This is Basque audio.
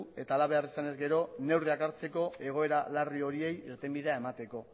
eta hala behar izanez gero neurriak hartzeko egoera larri horiei irtenbidea emateko